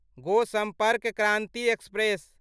गो सम्पर्क क्रान्ति एक्सप्रेस